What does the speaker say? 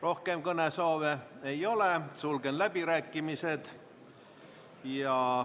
Rohkem kõnesoove ei ole, sulgen läbirääkimised.